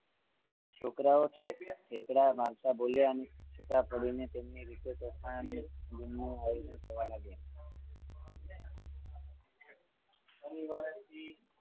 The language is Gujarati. છોકરાઓ ઠેકડા મારતા બોલ્યા છુટા પડીને તેમની રીતે તોફાન દિન નુ આયોજન કરવા લાગ્યા